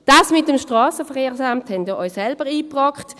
Das mit dem SVSA haben Sie sich selbst eingebrockt.